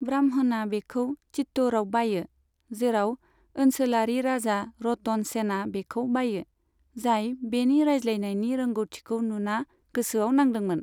ब्राह्मणआ बेखौ चित्तौड़आव बायो, जेराव ओनसोलारि राजा रतन सेनआ बेखौ बायो, जाय बेनि राज्लायनायनि रोंग'थिखौ नुना गोसोआव नांदोंमोन।